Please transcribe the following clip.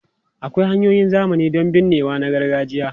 Akwai hanyoyin zamani don binnewa na gargajiya.